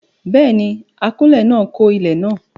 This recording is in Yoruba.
Béèni, akọ́lé náà kọ́ ilé náà